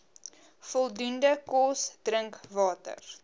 voldoende kos drinkwater